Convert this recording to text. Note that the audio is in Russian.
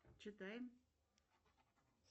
читаем